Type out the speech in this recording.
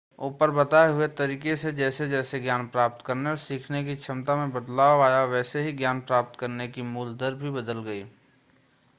ऊपर बताए हुए तरीके से जैसे जैसे ज्ञान प्राप्त करने और सीखने की क्षमता में बदलाव आया वैसे ही ज्ञान प्राप्त करने की मूल दर भी बदल गयी